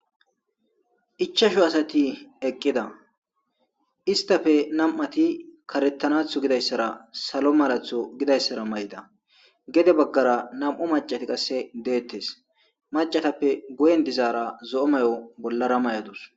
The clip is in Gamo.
Ichasho asati eqqida istafe nam'ati karettanatho gidayssara salo maratho gidayssara may'ida gede baggara nam'o macati qasse deettes macatappe goyen dizaara zo'o may'o bollara may'adus